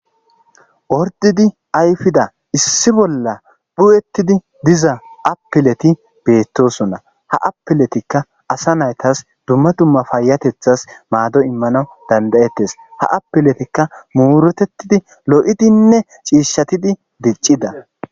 Ordidi ayfida issi bolla phu7ettidi diza appeleti beettosunna ha appeletikka asa naytas dumma dumma fayatethas maado immana dandayettes ha apeletikka muuretettidi lo7idinne ciishshatidi diccida